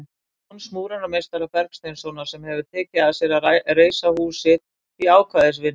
Jóns múrarameistara Bergsteinssonar, sem hefir tekið að sér að reisa húsið í ákvæðisvinnu.